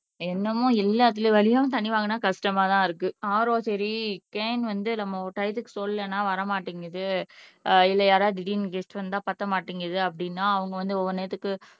என்னமோ எல்லாத்துல வலியும் தண்ணி வாங்குனா கஷ்டமா தான் இருக்கு RO சரி கேன் வந்து நம்ம டையத்துக்கு சொல்லலன்னா வரமாட்டேங்குது இல்லை யாராச்சும் திடீர்னு கெஸ்ட் வந்த பத்த மாட்டேங்குது அப்படின்னா அவங்க வந்து ஒவ்வொரு நேரத்துக்கு